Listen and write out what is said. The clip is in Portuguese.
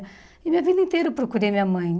E minha vida inteira eu procurei minha mãe.